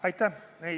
Aitäh!